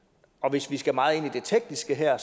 hvis vi skal meget ind i det tekniske her